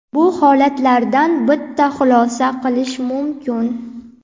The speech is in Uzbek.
Bu holatlardan bitta xulosa qilish mumkin.